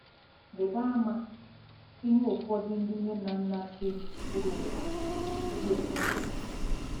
Rịba ama ihe ụfọdụ ndị nne na nna si gburugburu ụwa na-ekwubeghị.